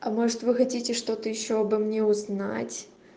а может вы хотите что ты ещё обо мне узнать